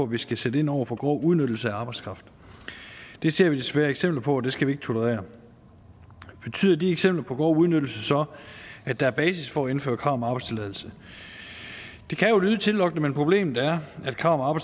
vi skal sætte ind over for grov udnyttelse af arbejdskraften det ser vi desværre eksempler på og det skal vi ikke tolerere betyder de eksempler på grov udnyttelse så at der er basis for at indføre krav om arbejdstilladelse det kan jo lyde tillokkende men problemet er at et krav